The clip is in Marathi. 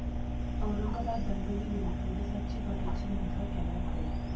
औरंगाबाद दंगलीवेळी पोलिसांची बघ्याची भूमिका, कॅमेऱ्यात कैद